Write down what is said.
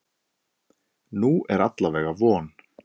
Nú er alla vega von.